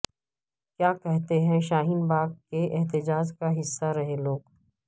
کیا کہتے ہیں شاہین باغ کے احتجاج کا حصہ رہے لوگ